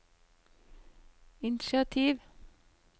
initiativ